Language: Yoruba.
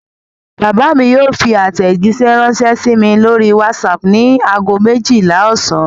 Bàbá mi yóò fi àtẹ̀jíṣẹ́ ránṣẹ́ sí mi lórí WhatsApp ní ago méjìlá ọ̀sán.